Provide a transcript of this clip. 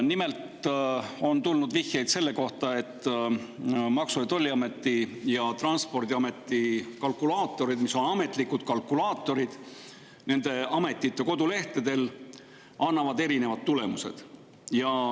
Nimelt on tulnud vihjeid selle kohta, et Maksu‑ ja Tolliameti ja Transpordiameti ametlikud kalkulaatorid nende ametite kodulehtedel annavad erinevad tulemused.